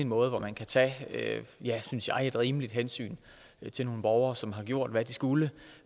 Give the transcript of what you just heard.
en måde hvor man kan tage et synes jeg rimeligt hensyn til nogle borgere som har gjort hvad de skulle